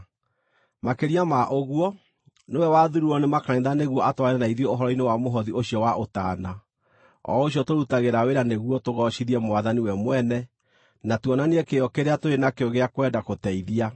Makĩria ma ũguo, nĩwe wathuurirwo nĩ makanitha nĩguo atwarane na ithuĩ ũhoro-inĩ wa mũhothi ũcio wa ũtaana, o ũcio tũrutagĩra wĩra nĩguo tũgoocithie Mwathani we mwene, na tuonanie kĩyo kĩrĩa tũrĩ nakĩo gĩa kwenda gũteithia.